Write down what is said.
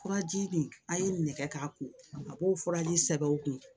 Furaji nin a ye nɛgɛ k'a kun a b'o furaji sɛbɛnw kun